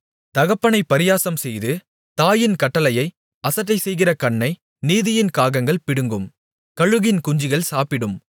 தகப்பனைப் பரியாசம்செய்து தாயின் கட்டளையை அசட்டைசெய்கிற கண்ணை நதியின் காகங்கள் பிடுங்கும் கழுகின் குஞ்சுகள் சாப்பிடும்